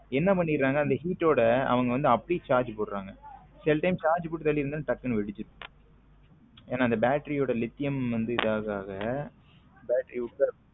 என்ன பண்ணுறாங்க அந்த அந்த heat ஓட அப்படியே charge போடுறாங்க சில time charge போட்டு டக்குனு வேடுசுருது என அந்த battery ஓடலித்தியம் இது ஆக ஆக battery உப்பிருது.